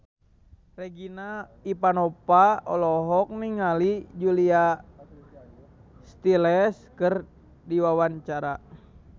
Regina Ivanova olohok ningali Julia Stiles keur diwawancara